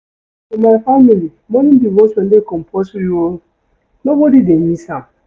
For my family, morning devotion dey compulsory o, nobody dey miss am.